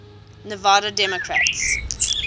nevada democrats